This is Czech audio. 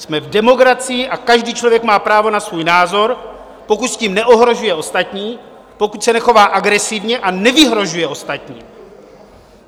Jsme v demokracii a každý člověk má právo na svůj názor, pokud s tím neohrožuje ostatní, pokud se nechová agresivně a nevyhrožuje ostatním.